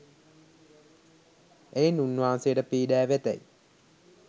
එයින් උන්වහන්සේට පීඩා වෙතැයි